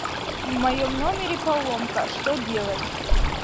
в моем номере поломка что делать